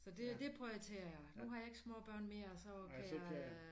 Så det det prioriterer jeg nu har jeg ikke små børn mere så kan jeg øh